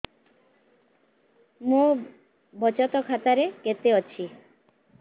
ମୋ ବଚତ ଖାତା ରେ କେତେ ଅଛି